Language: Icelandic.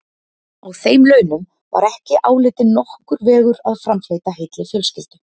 Á þeim launum var ekki álitinn nokkur vegur að framfleyta heilli fjölskyldu.